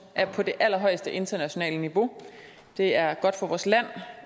er på det allerhøjeste internationale niveau det er godt for vores land